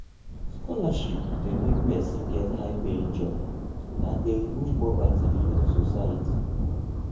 scholarship de make persin get high paying job and de remove poverty for the society